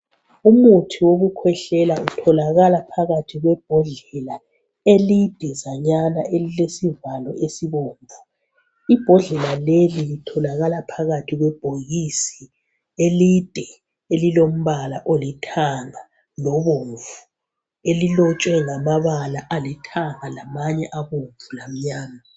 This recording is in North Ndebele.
Umuthi wokukhwehlela utholakala phakathi kwebhodlela elidazanyana elilesivalo esibomvu. Ibhodlela leli litholakala phakathi kwebhokisi elide elilombala olithanga lobomvu, elilotshwe ngamabala alithanga lamanye abomvu lamnyama.